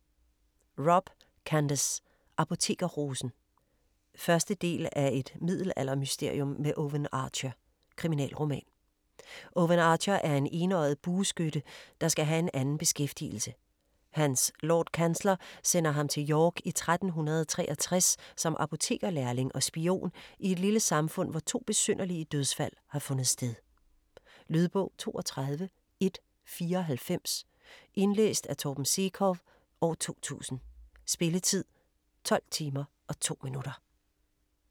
Robb, Candace: Apotekerrosen 1. del af Et middelaldermysterium med Owen Archer. Kriminalroman. Owen Archer er en enøjet bueskytte, der skal have anden beskæftigelse. Hans Lordkansler sender ham til York i 1363 som apotekerlærling og spion i et lille samfund, hvor to besynderlige dødsfald har fundet sted. Lydbog 32194 Indlæst af Torben Sekov, 2000. Spilletid: 12 timer, 2 minutter.